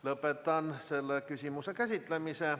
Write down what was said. Lõpetan selle küsimuse käsitlemise.